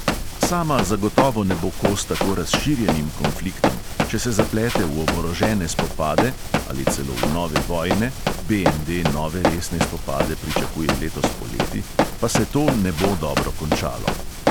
Sama zagotovo ne bo kos tako razširjenim konfliktom; če se zaplete v oborožene spopade ali celo v nove vojne (BND nove resne spopade pričakuje letos poleti), pa se to ne bo dobro končalo.